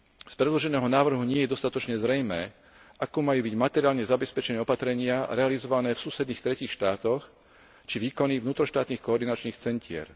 Z predloženého návrhu nie je dostatočne zrejmé, ako majú byť materiálne zabezpečené opatrenia realizované v susedných tretích štátoch či výkony vnútroštátnych koordinačných centier.